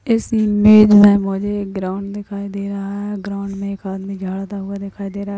इस इमेज में मुझे एक ग्राउंड दिखाई दे रहा है ग्राउंड में एक आदमी झाड़ता हुआ दिखाई दे रहा है।